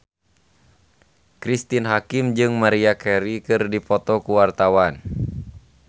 Cristine Hakim jeung Maria Carey keur dipoto ku wartawan